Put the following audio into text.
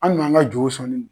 An kun b'an ka jo sɔn ni nin ye.